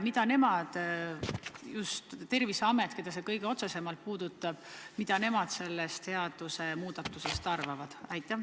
Mida just Terviseamet, keda see kõige otsesemalt puudutab, sellest seadusemuudatusest arvab?